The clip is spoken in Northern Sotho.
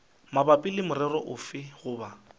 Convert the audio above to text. mabapi le morero ofe goba